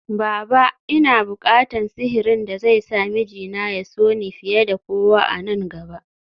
Baba! Ina bukatan sihirin da zai sa mijina ya so ni fiye da kowa a nan gaba